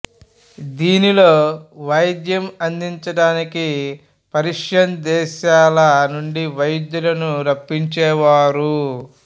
దీనిలో వైద్యం అందించడానికి పర్షియన్ దేశాల నుండి వైద్యులను రప్పించేవారు